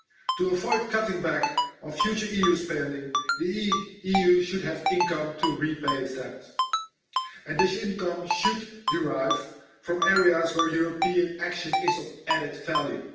To avoid cutting back on future EU spending, the EU should have income to repay its debts, and this income should derive from areas where European action is of added value.